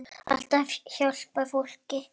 Alltaf að hjálpa fólki.